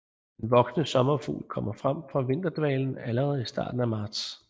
Den voksne sommerfugl kommer frem fra vinterdvalen allerede i starten af marts